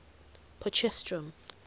potchefstroom